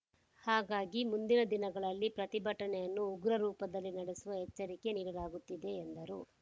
ಹಾಗಾಗಿ ಮುಂದಿನ ದಿನಗಳಲ್ಲಿ ಪ್ರತಿಭಟನೆಯನ್ನು ಉಗ್ರ ರೂಪದಲ್ಲಿ ನಡೆಸುವ ಎಚ್ಚರಿಗೆ ನೀಡಲಾಗುತ್ತದೆ ಎಂದರು